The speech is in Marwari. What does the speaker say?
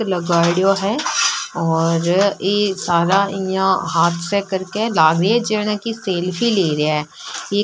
लगाइदो है और ई सारा यहां हाँथ से करके लाग री है जेना की सेल्फी ले रहा है ई --